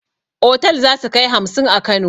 Otal zasukai hamsin a kano